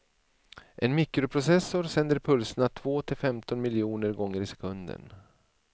En mikroprocessor sänder pulserna två till femton miljoner gånger i sekunden.